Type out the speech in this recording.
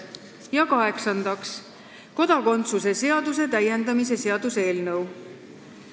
Ja kaheksandaks, kodakondsuse seaduse täiendamise seaduse eelnõu.